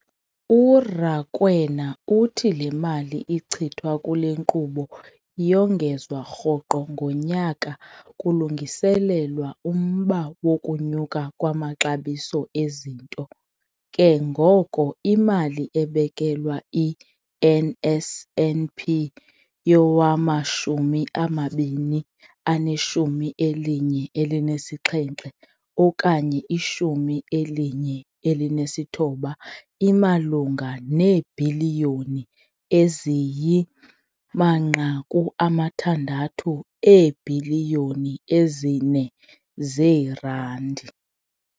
URakwena uthi le mali ichithwa kule nkqubo iyongezwa rhoqo ngonyaka kulungiselelwa umba wokunyuka kwamaxabiso ezinto, ke ngoko imali ebekelwe i-NSNP yowama-2017 okanye 18 imalunga neebhiliyoni eziyi-6 eebhiliyoni ezi-4 zeerandi.